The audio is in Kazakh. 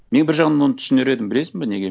мен бір жағынан оны түсінер едім білесің ба неге